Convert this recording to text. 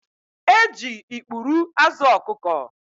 E ji ikpuru azụ ọkụkọ